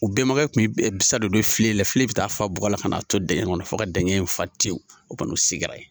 U bɛnbakɛ kun bi bisan de don filen la, filen bi taa fa bɔgɔ la ka na ton dɛngɛ in kɔnɔ fo ka dɛngɛ in fa tewu o kɔni u sigira yen.